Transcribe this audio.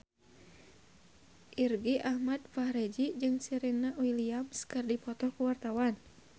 Irgi Ahmad Fahrezi jeung Serena Williams keur dipoto ku wartawan